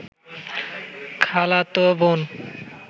খালাত বোন